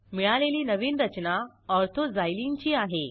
मिळालेली नवीन रचना ortho झायलीन ची आहे